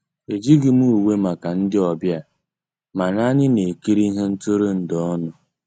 Ejíghị m ùwé màkà ndị́ ọ̀bịá, mànà ànyị́ ná-èkírí íhé ntụ́rụ́èndụ́ ọnụ́.